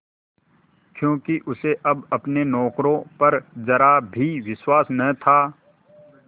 क्योंकि उसे अब अपने नौकरों पर जरा भी विश्वास न था